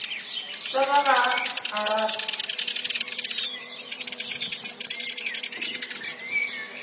tša ka ga a rate